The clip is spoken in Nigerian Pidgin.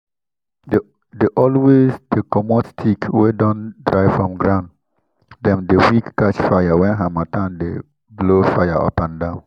dey always dey commot stick wey don dry from ground —dem dey quick catch fire when harmattan dey blow fire upandan.